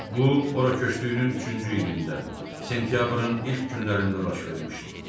Bu, ora köçdüyünün üçüncü ilində, sentyabrın ilk günlərində baş vermişdi.